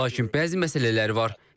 Lakin bəzi məsələlər var.